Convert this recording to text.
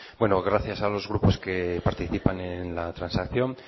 gracias a los grupos que participan en la transacción